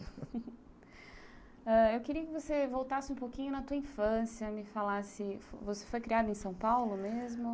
Ãh... Eu queria que você voltasse um pouquinho na tua infância, me falasse... Você foi criada em São Paulo mesmo?